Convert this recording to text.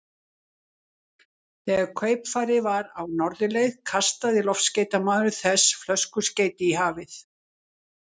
Þegar kaupfarið var á norðurleið, kastaði loftskeytamaður þess flöskuskeyti í hafið.